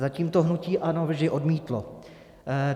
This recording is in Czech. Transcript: Zatím to hnutí ANO vždy odmítlo.